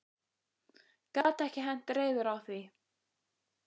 Gat ekki hent reiður á því.